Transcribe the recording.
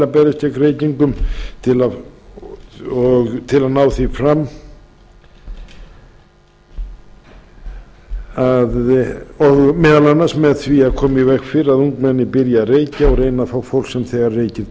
beri til að berjast gegn reykingum og til að ná því fram meðal annars með því að koma í veg fyrir að ungmenni byrji að reykja og reyna að fá fólk sem þegar reykir til